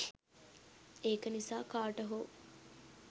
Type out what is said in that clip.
ඒක නිසා කාට හෝ